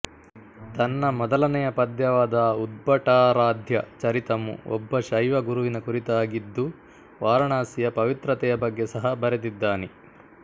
ತನ್ನ ಮೊದಲನೆಯ ಪದ್ಯವಾದ ಉದ್ಭಟಾರಾಧ್ಯ ಚರಿತಮು ಒಬ್ಬ ಶೈವ ಗುರುವಿನ ಕುರಿತಾಗಿದ್ದುವಾರಣಾಸಿಯ ಪವಿತ್ರತೆಯ ಬಗ್ಗೆ ಸಹ ಬರೆದಿದ್ದನೆ